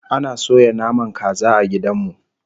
Ana soya naman kaza a gidan mu